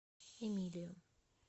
эмилию